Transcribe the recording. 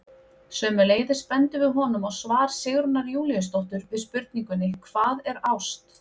Sömuleiðis bendum við honum á svar Sigrúnar Júlíusdóttur við spurningunni Hvað er ást?